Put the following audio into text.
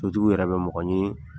Sotigiw yɛrɛ bɛ mɔgɔ ɲini .